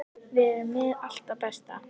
Við erum með allt það besta.